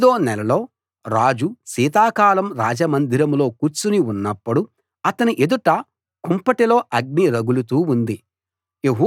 తొమ్మిదో నెలలో రాజు శీతాకాలం రాజమందిరంలో కూర్చుని ఉన్నప్పుడు అతని ఎదుట కుంపటిలో అగ్ని రగులుతూ ఉంది